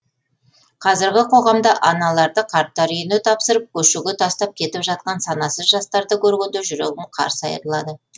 қазіргі қоғамда аналарды қарттар үйіне тапсырып көшеге тастап кетіп жатқан санасыз жастарды көргенде жүрегім қарсы айырылады